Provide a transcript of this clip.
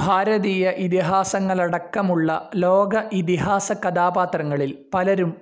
ഭാരതീയ ഇതിഹാസങ്ങളടക്കമുള്ള ലോക ഇതിഹാസ കഥാപാത്രങ്ങളിൽ പലരും